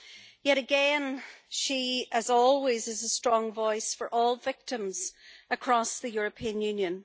Yet again she, as always, is a strong voice for all victims across the European Union.